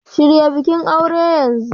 Shirya bikin aure yanzu!